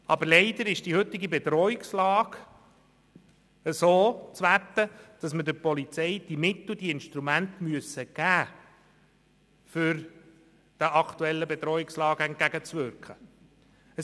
Aber leider ist die heutige Bedrohungslage so zu werten, dass wir der Polizei diese Mittel und Instrumente geben müssen, damit sie der aktuellen Bedrohungslage entgegenwirken kann.